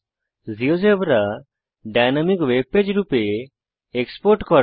GeoGebra dynamic webpage রূপে export করা